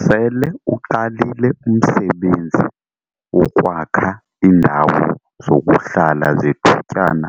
Sele uqalile umsebenzi wokwakha iindawo zokuhlala zethutyana